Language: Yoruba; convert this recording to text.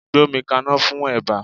Gbómi kaná fún eba!